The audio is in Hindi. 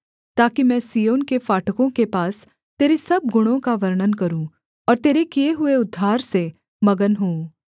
ताकि मैं सिय्योन के फाटकों के पास तेरे सब गुणों का वर्णन करूँ और तेरे किए हुए उद्धार से मगन होऊँ